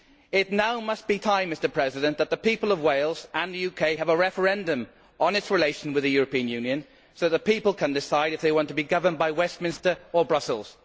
It now must be time that the people of Wales and the UK have a referendum on its relations with the European Union so the people can decide if they want to be governed by Westminster or Brussels.